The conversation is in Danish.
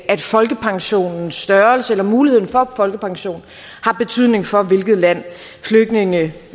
at folkepensionens størrelse eller muligheden for at få folkepension har betydning for hvilket land flygtninge